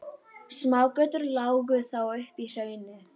Smágötur lágu þó upp í hraunið.